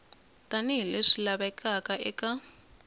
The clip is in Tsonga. tani hi leswi lavekaka eka